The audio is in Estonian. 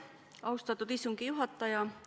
Austatud istungi juhataja!